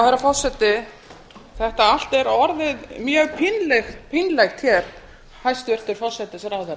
herra forseti þetta allt er orðið mjög pínlegt hér hæstvirtur forsætisráðherra